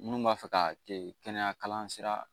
Minnu b'a fɛ ka kɛ kɛnɛya kalan sira